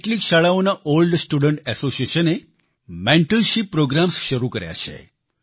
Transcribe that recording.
કેટલીક શાળાઓના old student association એ મેન્ટરશીપ પ્રોગ્રામ્સ શરૂ કર્યા છે